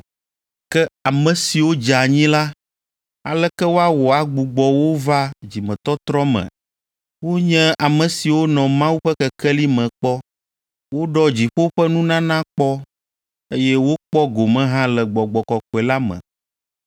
Ke ame siwo dze anyi la, aleke woawɔ agbugbɔ wo va dzimetɔtrɔ me? Wonye ame siwo nɔ Mawu ƒe kekeli me kpɔ. Woɖɔ dziƒo ƒe nunana kpɔ, eye wokpɔ gome hã le Gbɔgbɔ Kɔkɔe la me,